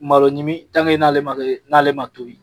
Malo ɲimi n'ale ma kɛ n'ale ma tobi.